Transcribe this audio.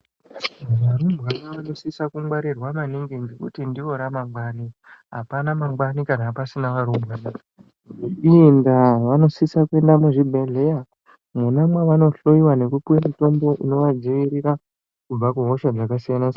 Varumbwana vano sisa ku ngwarirwa maningi ngekuti ndivo ra mangwani apana mangwani kana pasina varumbwana ivo ndaa vanosisa kuenda mu zvibhedhleya mwona mavano hloyiwa neku puwe mutombo inova dzivirira kubva ku hoshaa dzaka siyana siyana.